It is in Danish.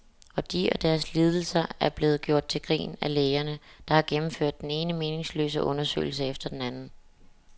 Og de og deres lidelser er blevet gjort til grin af lægerne, der har gennemført den ene meningsløse undersøgelse efter den anden.